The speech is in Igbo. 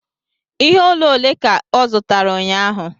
Ihe olu ole ka ọ zụtara ụnyahụ?